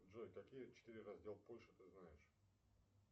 джой какие четыре раздела польши ты знаешь